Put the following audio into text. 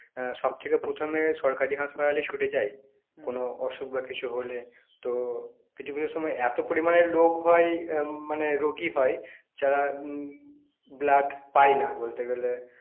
আহ সবথেকে প্রথমে সরকারি হাসপাতালে ছুটে যায় অসুখ বা কিছু হলে তো কিছু কিছু সময় এত পরিমাণে লোক হয় আহ মানে রোগী হয় যারা উম blood পায় না বলতে গেলে